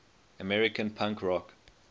american punk rock